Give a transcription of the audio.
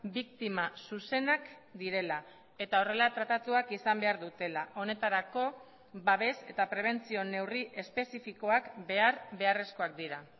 biktima zuzenak direla eta horrela tratatuak izan behar dutela honetarako babes eta prebentzio neurri espezifikoak behar beharrezkoak dira